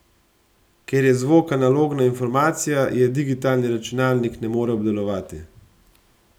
Ker je zvok analogna informacija, jo digitalni računalnik ne more obdelovati.